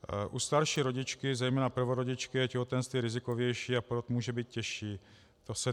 U starší rodičky, zejména prvorodičky, je těhotenství rizikovější a porod může být těžší.